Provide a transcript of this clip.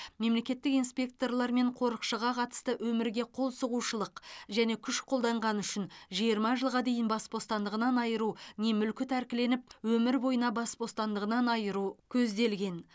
мемлекеттік инспекторлар мен қорықшыға қатысты өмірге қол сұғушылық және күш қолданғаны үшін жиырма жылға дейін бас бостандығынан айыру не мүлкі тәркіленіп өмір бойына бас бостандығынан айыру көзделген